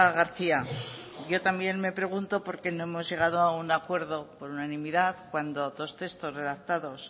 garcía yo también me pregunto por qué no hemos llegado a un acuerdo por unanimidad cuando dos textos redactados